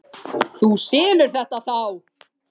Þú selur þetta þá?